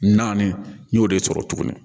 Naani n y'o de sɔrɔ tugunni